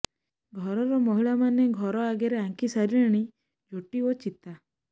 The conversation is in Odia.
ଘରର ମହିଳାମାନେ ଘର ଆଗରେ ଆଙ୍କି ସାରିଲେଣି ଝୋଟି ଓ ଚିତା